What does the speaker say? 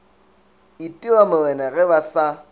itira morena ge ba sa